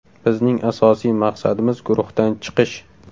Bizning asosiy maqsadimiz guruhdan chiqish.